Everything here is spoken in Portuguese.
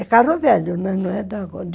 É carro velho, não é de agora